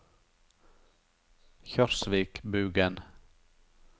Kjørsvikbugen